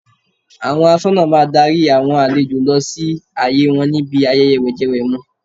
Àwọn aṣọ́nà máa darí àwọn àlejò lọ sí àyè wọn níbi ayẹyẹ wẹ̀jẹwẹ̀mu.